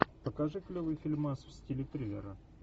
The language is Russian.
покажи клевый фильмас в стиле триллера